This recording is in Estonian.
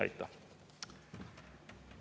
Aitäh!